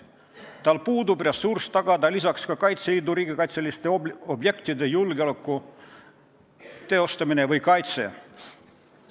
Politseil puudub ressurss tagada ka Kaitseliidu riigikaitseliste objektide julgeolek või kaitse.